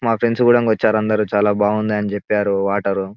మా ఫ్రెండ్స్ కూదంగ వచ్చారు చాలా బాగుంది అని చెప్పారు వాటర్ .